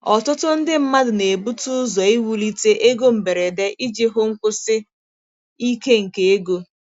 Ọtụtụ ndị mmadụ na-ebute ụzọ iwulite ego mberede iji hụ nkwụsi ike nke ego.